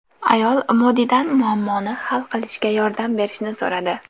Ayol Modidan muammoni hal qilishga yordam berishni so‘radi.